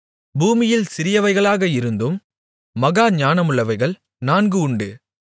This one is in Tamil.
பூமியில் சிறியவைகளாக இருந்தும் மகா ஞானமுள்ளவைகள் நான்கு உண்டு